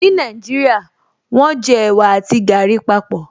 Ní Nàìjíríà, wọ́n jẹ ẹ̀wà àti gàrí papọ̀